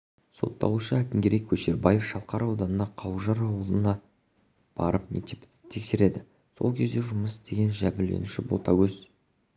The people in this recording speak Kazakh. сотталушы әкімгерей көшербаев шалқар ауданының қауылжар ауылына барып мектепті тексереді сол кезде жұмыс істеген жәбірленуші ботагөз